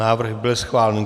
Návrh byl schválen.